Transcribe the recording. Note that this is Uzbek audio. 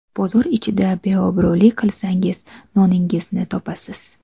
Bozor ichida beobro‘lik qilsangiz, noningizni topasiz.